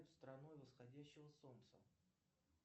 страной восходящего солнца